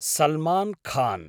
Salman Khan